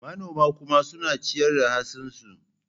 Manoman kuma suna ciyar da hatsinsu.